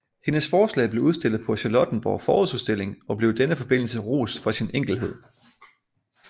Hendes forslag blev udstillet på Charlottenborg Forårsudstilling og blev i denne forbindelse rost for sin enkelhed